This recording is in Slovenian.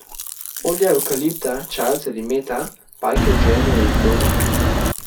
Olja evkalipta, čajevca ali mete pajke odženejo iz doma.